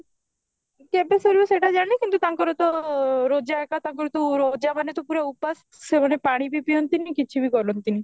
କେବେ ସରିବା ସେଇଟା ଜାଣିନି କିନ୍ତୁ ତାଙ୍କର ତ ରୋଜା ଏକ ତାଙ୍କର ତ ମାନେ ତ ଉପାସ ସେମାନେ ପାଣି ବି ପିଆନ୍ତିନି କିଛି ବି କରନ୍ତିନି